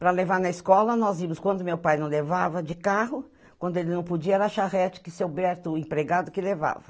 Para levar na escola nós íamos, quando meu pai não levava de carro, quando ele não podia era a charrete que seu Berto, o empregado, que levava.